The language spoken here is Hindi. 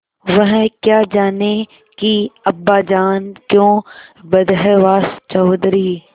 वह क्या जानें कि अब्बाजान क्यों बदहवास चौधरी